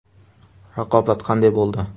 Raqobat qanday bo‘ldi?